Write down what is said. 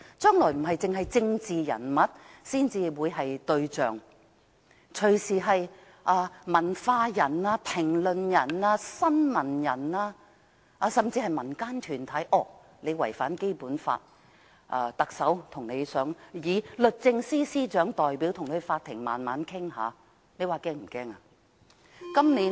將來不只政治人物會成為對象，文化人、評論員、新聞從業員甚至民間團體隨時也可被指違反《基本法》，由律政司司長代表特首將他們帶上法庭慢慢處理，這是否很可怕呢？